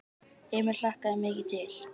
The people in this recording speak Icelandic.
Emil hlakkaði mikið til.